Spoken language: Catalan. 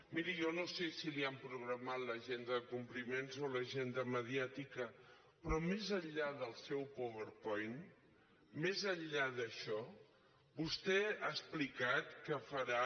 miri jo no sé si li han programat l’agenda de compliments o l’agenda mediàtica però més enllà del seu powerpoint més enllà d’això vostè ha explicat que farà